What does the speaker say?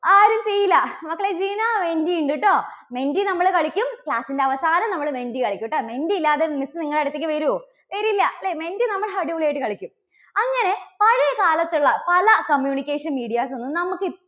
ആരും ചെയ്യില്ല. മക്കളെ ജീന menti ഉണ്ട് കേട്ടോ. menti നമ്മള് കളിക്കും. class ന്റെ അവസാനം നമ്മള് menti കളിക്കൂട്ടോ. menti ഇല്ലാതെ miss നിങ്ങളുടെ അടുത്തേക്ക് വരുവോ? വരില്ല അല്ലേ. menti നമ്മൾ അടിപൊളിയായിട്ട് കളിക്കും. അങ്ങനെ പഴയ കാലത്തുള്ള പല communication medias ഒന്നും നമുക്ക്